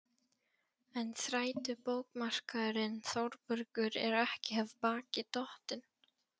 En þrætubókarmaðurinn Þórbergur er ekki af baki dottinn.